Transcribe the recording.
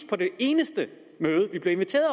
på det eneste møde vi blev inviteret